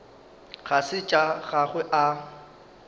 ga se tša gagwe a